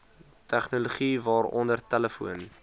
tegnologie waaronder telefoon